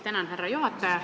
Tänan, härra juhataja!